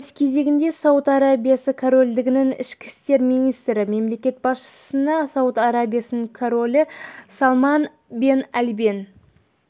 өз кезегінде сауд арабиясы корольдігінің ішкі істер министрі мемлекет басшысына сауд арабиясының королі салман бен әбдел